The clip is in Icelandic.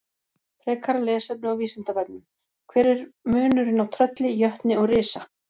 Frekara lesefni á Vísindavefnum: Hver er munurinn á trölli, jötni og risa?